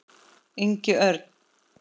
Ingi Örn.